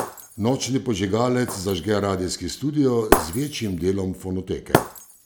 Nočni požigalec zažge radijski studio z večjim delom fonoteke.